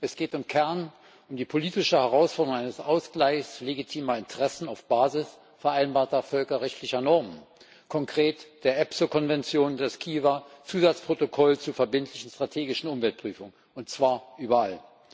Es geht im Kern um die politische Herausforderung eines Ausgleichs legitimer Interessen auf Basis vereinbarter völkerrechtlicher Normen, konkret der ESPOO Konvention des Kiewer Zusatzprotokolls zur verbindlichen strategischen Umweltprüfung, und zwar überall.